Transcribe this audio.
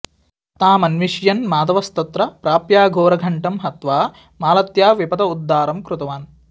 तामन्विष्यन् माधवस्तत्र प्राप्याघोरघण्टं हत्वा मालत्या विपद उद्धारं कृतवान्